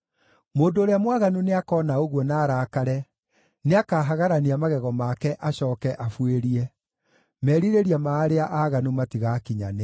Mũndũ ũrĩa mwaganu nĩakoona ũguo na arakare, nĩakahagarania magego make, acooke abuĩrie; merirĩria ma arĩa aaganu matigaakinyanĩra.